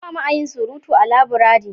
ba mu a yin surutu a laburare